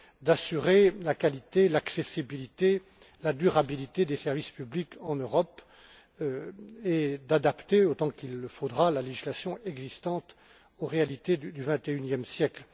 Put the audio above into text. d'assurer la qualité, l'accessibilité, la durabilité des services publics en Europe et d'adapter autant qu'il le faudra la législation existante aux réalités du 21e siècle.